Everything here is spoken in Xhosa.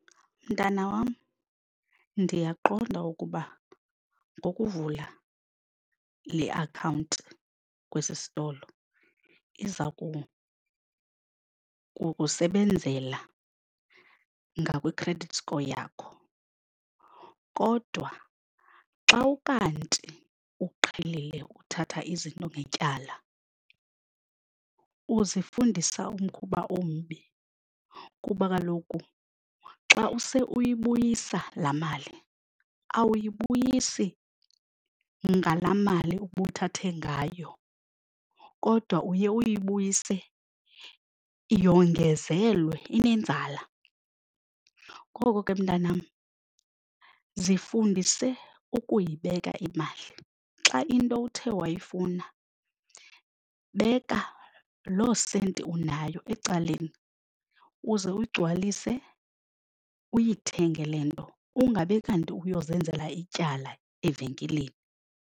Mntana wam, ndiyaqonda ukuba ngokuvula le akhawunti kwesi sitolo iza kukusebenzela ngakwi-credit score yakho kodwa xa ukanti uqhelile uthatha izinto ngetyala uzifundisa umkhuba ombi kuba kaloku xa use uyibuyisa laa mali awuyibuyisi ngalaa mali ubuthathe ngayo kodwa uye uyibuyise yongezelwe inenzala. Ngoko ke mntanam zifundise ukuyibeka imali. Xa into uthe wayifuna beka lo senti unayo ecaleni uze uyigcwalise uyithenge le nto ungabi kanti uyozenzela ityala evenkileni.